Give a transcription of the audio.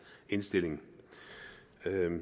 indstilling